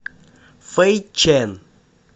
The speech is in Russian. фэйчэн